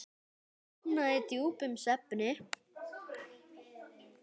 Og hún sofnaði djúpum svefni.